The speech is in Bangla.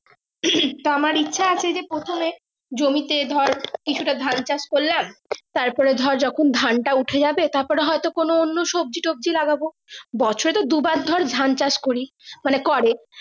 আমার ইচ্ছা আছে যে প্রথমে জমি তে ধর কিছু টা ধান চাষ করলাম তার পর ধর যখন ধান টা উঠে যাবে তার পরে হয় তো কোনো অন্য সবজি টোবাজি লাগাব বছরে তো দু বার ধান চাষ করি মানে করে।